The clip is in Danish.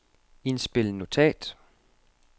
indspil notat